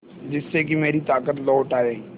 जिससे कि मेरी ताकत लौट आये